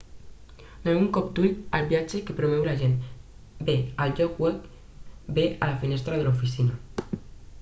doneu un cop d'ull als viatges que promou l'agent bé al lloc web bé a la finestra de l'oficina